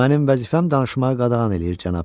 Mənim vəzifəm danışmağı qadağan eləyir, cənab.